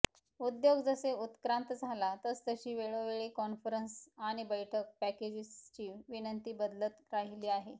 उद्योग जसे उत्क्रांत झाला तसतशी वेळोवेळी कॉन्फरेंस आणि बैठक पॅकेजेसची विनंती बदलत राहिले आहे